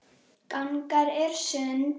Gangan er sund.